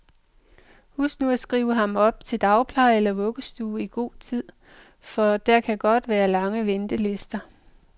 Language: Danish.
Husk nu at skrive ham op til dagpleje eller vuggestue i god tid, for der kan godt være lange ventelister.